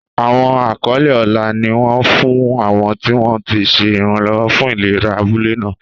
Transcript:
Àwọn àkọlé ọlá ni wọ́n fún àwọn tí wọ́n ti ṣe ìrànlọ́wọ́ fún ìlera abúlé náà.